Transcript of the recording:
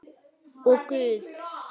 Og Guðs.